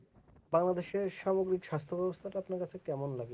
বাংলাদেশ এর স্বাভাবিক স্বাস্থ ব্যবস্থা টা আপনার কাছে কেমন লাগে